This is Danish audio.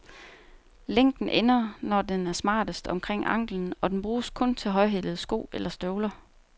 Længden ender, når den er smartest, omkring anklen, og den bruges kun til højhælede sko eller støvler.